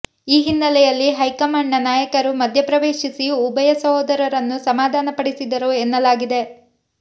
ಈ ಹಿನ್ನೆಲೆಯಲ್ಲಿ ಹೈಕಮಾಂಡ್ನ ನಾಯಕರು ಮಧ್ಯಪ್ರವೇಶಿಸಿ ಉಭಯ ಸಹೋದರರನ್ನು ಸಮಾಧಾನ ಪಡಿಸಿದರು ಎನ್ನಲಾಗಿದೆ